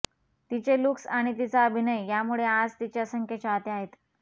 तिचे लूक्स आणि तिचा अभिनय यामुळे आज तिचे असंख्य चाहते आहेत